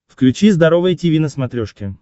включи здоровое тиви на смотрешке